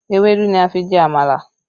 Ewédú ni a fi jẹ àmàlà